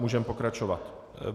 Můžeme pokračovat.